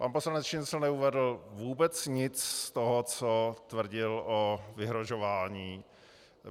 Pan poslanec Šincl neuvedl vůbec nic z toho, co tvrdil o vyhrožování.